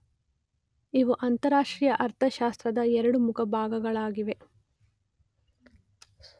ಇವು ಅಂತಾರಾಷ್ಟ್ರೀಯ ಅರ್ಥಶಾಸ್ತ್ರದ ಎರಡು ಮುಖ್ಯ ಭಾಗಗಳಾಗಿವೆ.